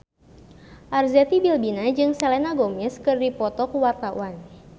Arzetti Bilbina jeung Selena Gomez keur dipoto ku wartawan